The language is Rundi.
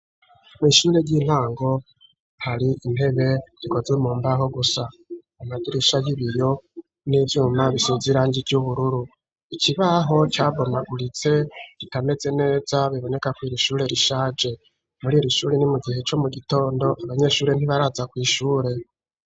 Mw'ishure ry'intango hari intebe gikozwe mumbaho gusa amagirisha y'ibiryo n'ibyuma bisizirangi ry'ubururu ikibaho cyabomaguritse gitameze neza biboneka ku irshure rishaje muri irishuri ni mu gihe co mu gitondo abanyeshuri ntibaraza kw'ishure.